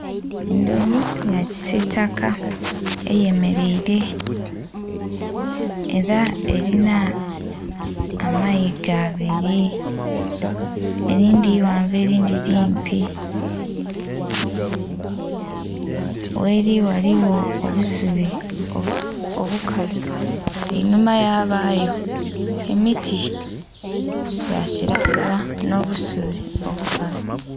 Endhovu ya kisiitaka eyemeleire era erinha amayiga abiri, erindhi ighanvu erindhi limpi. Gheri ghaligho obusubi obukalu, enhuma yabayo emiti gya kiragala n'obusubi obukalu.